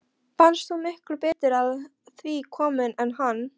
Fannst hún miklu betur að því komin en hann.